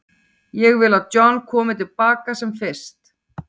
Ég vil að John komi til baka sem fyrst.